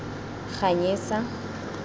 ganyesa